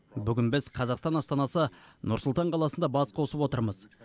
бүгін біз қазақтсан астанасы нұр сұлтан қаласында бас қосып отырмыз